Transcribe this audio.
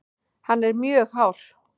Hann er mjög hár.